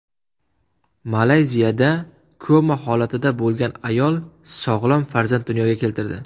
Malayziyada koma holatida bo‘lgan ayol sog‘lom farzand dunyoga keltirdi.